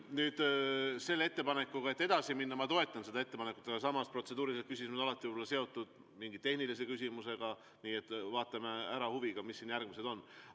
Nüüd, seda ettepanekut edasi minna ma toetan, aga samas võivad protseduurilised küsimused olla seotud mingi tehnilise küsimusega, nii et vaatame huviga, mis järgmised küsimused on.